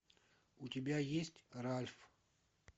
у тебя есть ральф